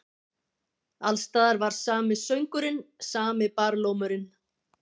Alls staðar var sami söngurinn, sami barlómurinn.